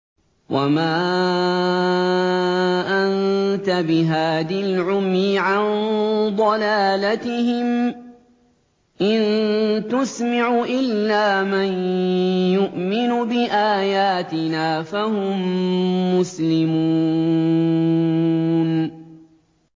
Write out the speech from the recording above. وَمَا أَنتَ بِهَادِي الْعُمْيِ عَن ضَلَالَتِهِمْ ۖ إِن تُسْمِعُ إِلَّا مَن يُؤْمِنُ بِآيَاتِنَا فَهُم مُّسْلِمُونَ